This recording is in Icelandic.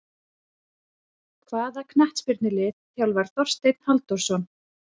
Hvaða knattspyrnulið þjálfar Þorsteinn Halldórsson?